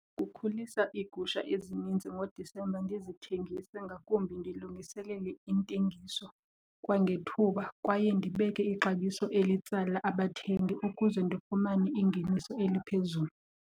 Kukhulisa iigusha ezininzi ngoDisemba ndizithengise ngakumbi, ndilungiselele intengiso kwangethuba kwaye ndibeke ixabiso elitsala abathengi ukuze ndifumane ingeniso eliphezulu.